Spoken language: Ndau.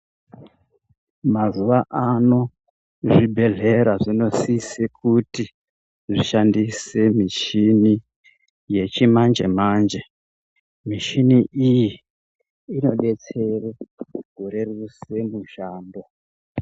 Mazuva ano zvibhedhlera zvinosise kuti zvishandise michini yechimanje-manje. Mishini iyi inodetsere kureruse mushando.